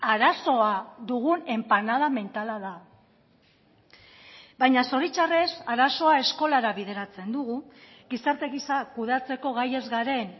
arazoa dugun enpanada mentala da baina zoritzarrez arazoa eskolara bideratzen dugu gizarte gisa kudeatzeko gai ez garen